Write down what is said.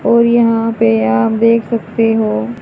और यहां पे आप देख सकते हो--